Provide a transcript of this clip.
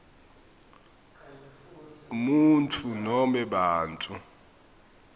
umuntfu nobe bantfu